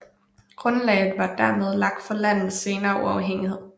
Grundlaget var dermed lagt for landets senere uafhængighed